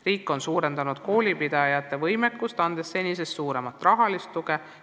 Riik on suurendanud koolipidajate võimekust, andes neile senisest suuremat rahalist tuge.